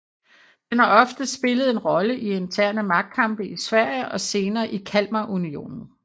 Den har ofte spillet en rolle i interne magtkamp i Sverige og senere i Kalmarunionen